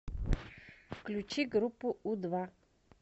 включи группу у два